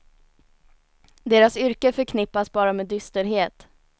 Deras yrke förknippas bara med dysterhet.